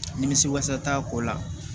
Nimisi wasa t'a ko la